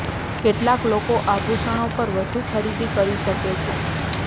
કેટલાક લોકો આભુષણો પર વધુ ખરીદી કરી શકે છે